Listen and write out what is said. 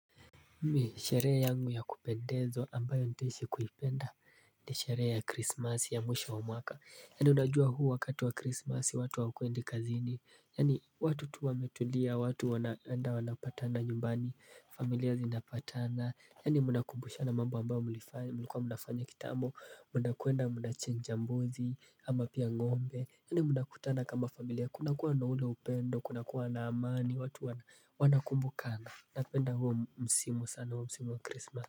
Mimi sherehe yangu ya kupendezwa ambayo ntaishi kuipenda ni sherehe ya krismasi ya mwisho wa mwaka Yani unajua huu wakati wa krismasi watu hawakwendi kazini Yani watu tu wametulia, watu wanaenda wanapatana nyumbani, familia zinapatana Yani mnakumbusha mambo ambayo mlikua mnafanya kitambo, mnakwenda, mnachinja mbuzi, ama pia ng'ombe Yani mnakutana kama familia, kuna kuwa na ule upendo, kuna kuwa na amani, watu wana wanakumbukana Napenda huo msimu sana huo msimu wa krismasi.